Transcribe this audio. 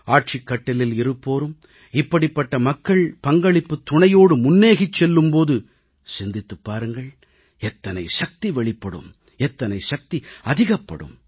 ஆட்சிக் கட்டிலில் இருப்போரும் இப்படிப்பட்ட மக்கள் பங்களிப்புத் துணையோடு முன்னேகிச் செல்லும் போது சிந்தித்துப் பாருங்கள் எத்தனை சக்தி வெளிப்படும் எத்தனை சக்தி அதிகப்படும்